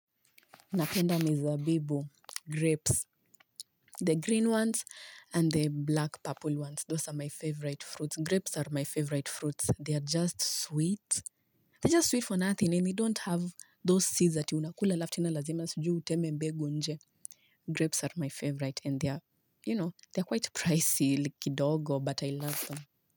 Napenda mizabibu, grapes, the green ones and the black purple ones, those are my favorite fruits, grapes are my favorite fruits, they are just sweet, they are just sweet for nothing and they don't have those seeds that ati unakula halafu tena lazima sijui uteme mbegu nje, grapes are my favorite and they are, you know, they are quite pricey kidogo but I love them.